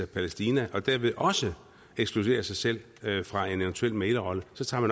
palæstina og dermed også ekskludere sig selv fra en eventuel mæglerrolle så tager